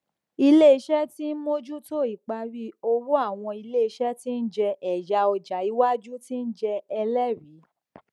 iléiṣẹ tí ń mójútó ìparí òwò àwọn iléiṣẹ tí ń jẹ ẹyà ọjà ìwájú tí ń jẹ ẹlẹrìí